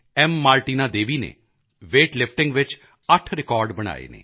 Martina Devi ਨੇ weightlifting ਵਿੱਚ 8 record ਬਣਾਏ ਹਨ